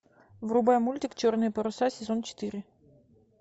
врубай мультик черные паруса сезон четыре